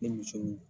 Ni muso